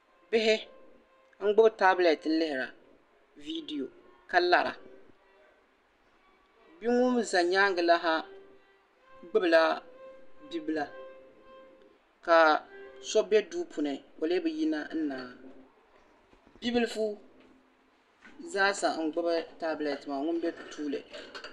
Bihi m-gbubi "tablet" lihiri video ka lara bi'ŋun za nyaaŋa laha gbubi la bi'la ka so be duu puuni o leei bi yina naai bi'lifu zaasa n gbubi "tablet" maa ŋun be bɛ puuni